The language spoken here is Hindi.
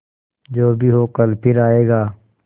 जो भी हो कल फिर आएगा